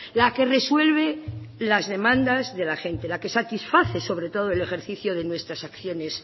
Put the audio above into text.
la que resuelve las demandas de la gente la que satisface sobre todo el ejercicio de nuestras acciones